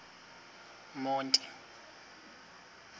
monti